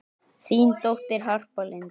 Þín dóttir, Harpa Lind.